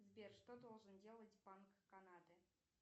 сбер что должен делать банк канады